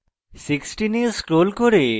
16 এ scroll করে